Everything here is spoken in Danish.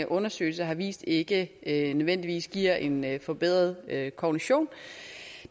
undersøgelse har vist ikke nødvendigvis giver en forbedret kognition